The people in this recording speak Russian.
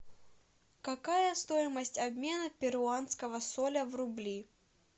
какая стоимость обмена перуанского соля в рубли